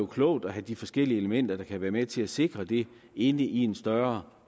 klogt at have de forskellige elementer der kan være med til at sikre det inde i en større